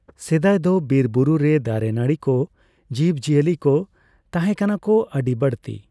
ᱥᱮᱫᱟᱭ ᱫᱚ ᱵᱤᱨ ᱵᱩᱨᱩ ᱨᱮ ᱫᱟᱨᱮᱼᱱᱟᱲᱤ ᱠᱚ, ᱡᱤᱵᱼᱡᱤᱭᱟᱹᱞᱤ ᱠᱚ ᱛᱟᱦᱮᱸᱠᱟᱱᱟ ᱠᱚ ᱟᱹᱰᱤ ᱵᱟᱹᱲᱛᱤ᱾